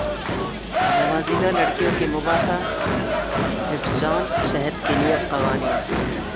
نوزائیدہ لڑکیوں کے مباحثہ حفظان صحت کے لئے قوانین